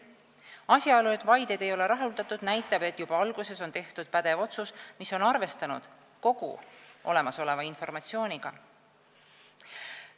Asjaolu, et vaideid ei ole rahuldatud, näitab, et juba alguses on tehtud pädev otsus ning on arvestatud kogu olemasoleva informatsiooniga.